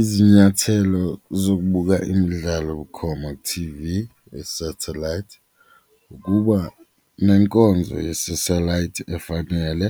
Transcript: Izinyathelo zokubuka imidlalo bukhoma ku-T_V yesethelayithi ukuba nenkonzo yesethelayithi efanele,